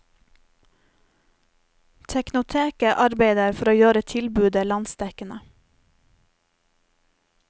Teknoteket arbeider for å gjøre tilbudet landsdekkende.